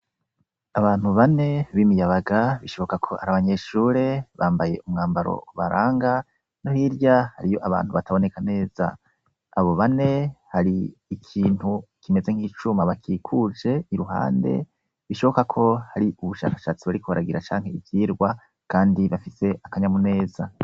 Icumba c' isomero kirimw' abanyeshure bane b'imiyabaga bambay' umwambar' ubaranga hirya hariy' abantu bataboneka neza, abo bane har'umwe muribo har' ikintu kimeze nk'icum' afashe kibakikuje, asankah' ari kubasigurira kubijanye n' ubushakashatsi bariko baragira cank' ivyirwa runaka kandi bafit' akanyamu neza bariko baratwenga.